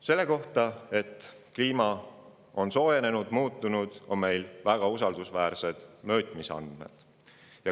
Selle kohta, et kliima on soojenenud, muutunud, on meil väga usaldusväärsed mõõtmisandmed.